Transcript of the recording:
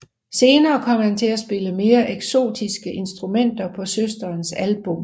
Senere kom han til at spille mere eksotiske instrumenter på søsterens album